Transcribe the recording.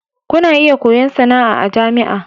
Kuna iya koyon sana'a a jami'a.